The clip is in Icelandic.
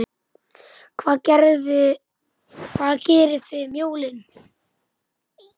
Hvað gerið þið um jólin?